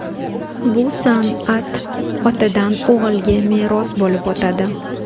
Bu san’at otadan o‘g‘ilga meros bo‘lib o‘tadi.